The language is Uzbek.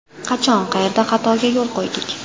Qachon, qayerda xatoga yo‘l qo‘ydik?